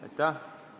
Aitäh!